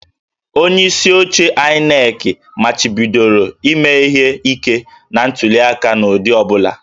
Onyeisi oche INEC machibidoro ime ihe ike na ntuliaka n'ụdị ọ bụla